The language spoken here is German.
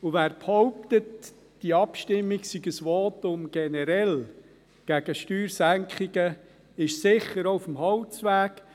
Wer behauptet, diese Abstimmung sei ein Votum generell gegen Steuersenkungen, ist sicher auch auf dem Holzweg.